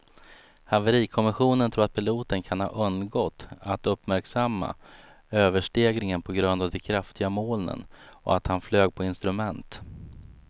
Haverikommissionen tror att piloten kan ha undgått att uppmärksamma överstegringen på grund av de kraftiga molnen och att han flög på instrument.